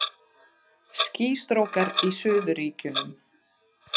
Skýstrókar í Suðurríkjunum